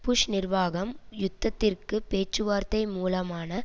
push நிர்வாகம் யுத்தத்திற்கு பேச்சுவார்த்தை மூலமான